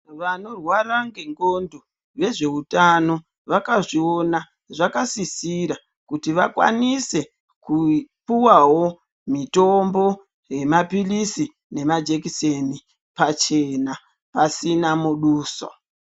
Vanorwara ngendxondo vezveutano vakazviona zvakasisira kuti vakwanise kupuwawo mitombo yemapilisi nemajekiseni pachena pasina muduso.